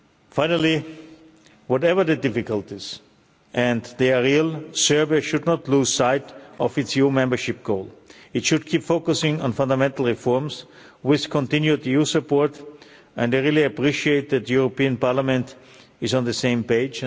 Finally, whatever the difficulties and they are real Serbia should not lose sight of its EU membership goal. It should keep focusing on fundamental reforms, with continued EU support, and I really appreciate that the European Parliament is on the same page.